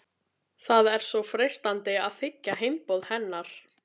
Það er svo freistandi að þiggja heimboð hennar.